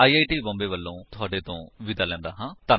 I I T Bombay ਵਲੋਂ ਮੈਂ ਹੁਣ ਤੁਹਾਡੇ ਤੋਂ ਵਿਦਾ ਲੈਂਦਾ ਹਾਂ